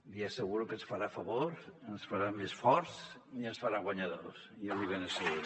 li asseguro que ens farà favor ens farà més forts i ens farà guanyadors ja l’hi ben asseguro